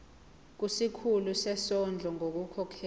kusikhulu sezondlo ngokukhokhela